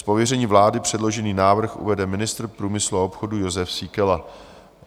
Z pověření vlády předložený návrh uvede ministr průmyslu a obchodu Jozef Síkela.